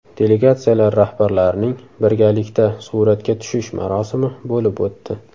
Delegatsiyalar rahbarlarining birgalikda suratga tushish marosimi bo‘lib o‘tdi.